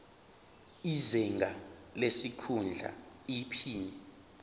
izinga lesikhundla iphini